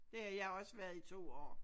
Det har jeg også været i to år